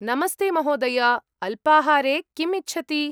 नमस्ते महोदय, अल्पाहारे किम् इच्छति?